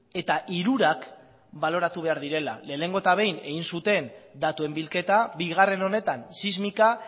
eta hirurak baloratu behar direla lehenengo eta behin egin zuten datuen bilketa bigarren honetan sismika